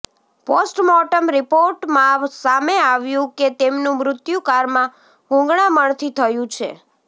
postmortem રિપોર્ટમાં સામે આવ્યું કે તેમનું મૃત્યુ કારમાં ગૂંગળામણથી થયું છે